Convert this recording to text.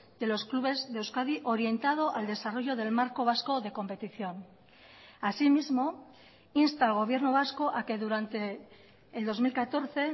de los clubes de euskadi orientado al desarrollo del marco vasco de competición así mismo insta al gobierno vasco a que durante el dos mil catorce